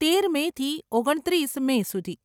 તેર મેથી ઓગણત્રીસ મે સુધી.